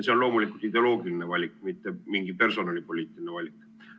See on loomulikult ideoloogiline valik, mitte mingi personalipoliitiline valik.